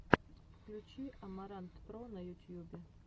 включи амарантпро на ютьюбе